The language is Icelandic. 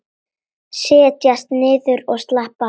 Setjast niður og slappa af.